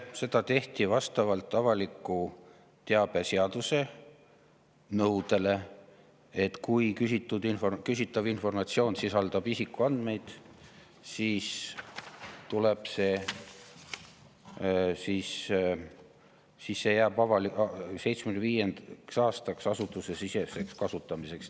Seda tehti vastavalt avaliku teabe seaduse nõudele, et kui küsitav informatsioon sisaldab isikuandmeid, siis see jääb 75 aastaks asutusesiseseks kasutamiseks.